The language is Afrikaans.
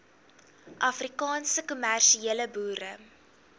afrikaanse kommersiële boere